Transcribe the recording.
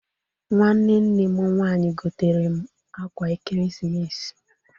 Nwanne nne m nwaanyị gotere m ákwà ekeresimesi.